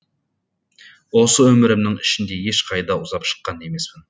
осы өмірімнің ішінде ешқайда ұзап шыққан емеспін